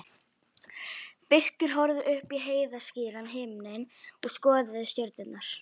Birkir horfði upp í heiðskíran himininn og skoðaði stjörnurnar.